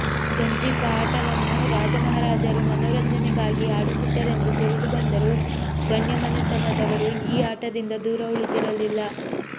ಗಂಜೀಫ ಆಟವನ್ನು ರಾಜಮಹಾರಾಜರು ಮನೋರಂಜನೆಗಾಗಿ ಆಡುತ್ತಿದ್ದರೆಂದು ತಿಳಿದು ಬಂದರೂ ಗಣ್ಯಮನೆತನದವರು ಈ ಆಟದಿಂದ ದೂರ ಉಳಿದಿರಲಿಲ್ಲ